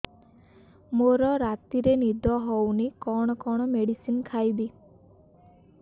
ମୋର ରାତିରେ ନିଦ ହଉନି କଣ କଣ ମେଡିସିନ ଖାଇବି